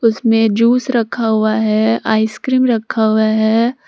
उसमें जूस रखा हुआ है आइसक्रीम रखा हुआ है।